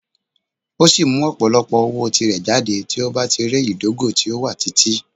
O si mu opolopo owo ti rẹ jade ti o ba ti rẹ idogo ti o wa titi.